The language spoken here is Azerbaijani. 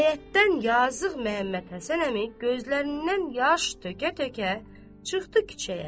yazığ Məhəmməd Həsən əmi gözlərindən yaş tökə-tökə çıxdı küçəyə.